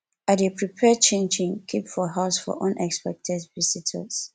i dey prepare chinchin keep for house for unexpected visitors